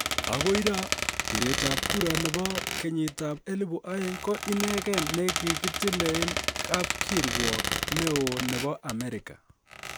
Agoi ra, biret ab kura nebo 2000 ko inegen ni kigitile kap kiruok ne oo nebo Amerika.